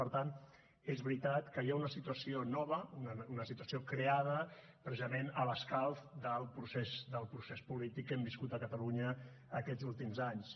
per tant és veritat que hi ha una situació nova una situació creada precisament a l’escalf del procés del procés polític que hem viscut a catalunya aquests últims anys